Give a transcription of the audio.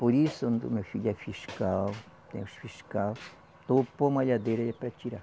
Por isso, um dos meus filho é fiscal, tem os fiscal, topou malhadeira é para tirar.